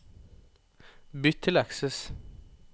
Bytt til Access